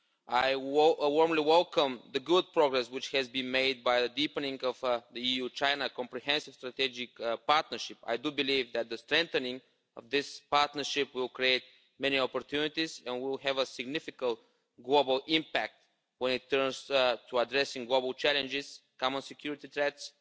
I warmly welcome the good progress which has been made by deepening the EU China Comprehensive Strategic Partnership. I believe that the strengthening of this partnership will create many opportunities, and will have a significant global impact when it comes to addressing global challenges, common security threats,